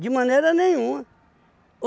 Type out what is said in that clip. De maneira nenhuma.